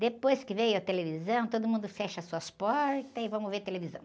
Depois que veio a televisão, todo mundo fecha as suas portas e vamos ver televisão.